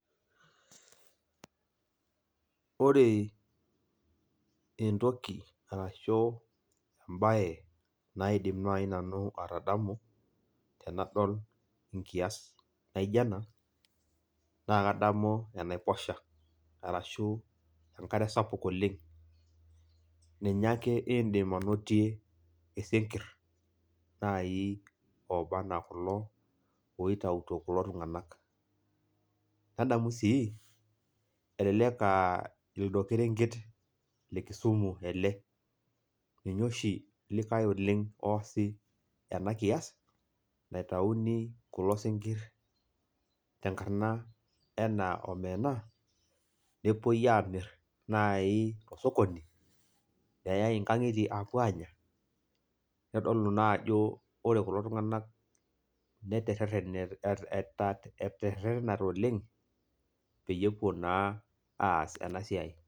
Ore entoki arashu ebae naidim nai nanu atadamu tenadol enkias naijo ena, naa kadamu enaiposha. Arashu enkare sapuk oleng. Ninye ake iidim anotie isinkirr nai oba enaa kulo oitauto kulo tung'anak. Nadamu si elelek ah lido kerenket le Kisumu ele, ninye oshi likae oleng oosi enakias, naitauni kulo sinkirr tenkarna enaa omena, nepoi amir nai tosokoni, neai inkang'itie apuo anya, nitodolu najo ore kulo tung'anak naterrerrenate oleng, peyie epuo naa aas enasiai.